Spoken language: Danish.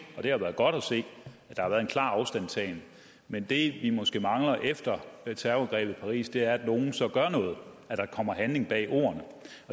og det har været godt se at der har været en klar afstandtagen men det vi måske mangler efter terrorangrebet i paris er at nogle så gør noget at der kommer handling bag ordene